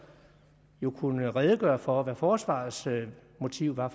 jo kunne redegøre for altså hvad forsvarets motiv var